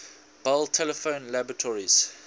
bell telephone laboratories